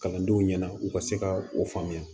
Kalandenw ɲɛna u ka se ka o faamuya